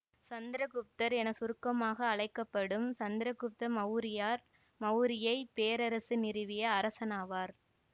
சந்திர குப்தர் என சுருக்கமாக அழைக்க படும் சந்திரகுப்த மௌரியர் மௌரிய பேரரசை நிறுவிய அரசனாவார்